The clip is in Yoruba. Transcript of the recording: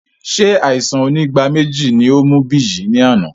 Ṣé àìsàn onígbáméjì ní ó mú Biyi ní àná?